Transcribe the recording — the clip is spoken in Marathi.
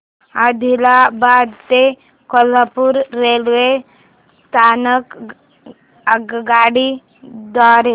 आदिलाबाद ते कोल्हापूर रेल्वे स्थानक आगगाडी द्वारे